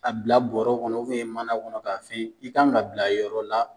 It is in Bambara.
A bila bɔrɔw kɔnɔ mana kɔnɔ k'a f'i yen, i kan ka bila yɔrɔ la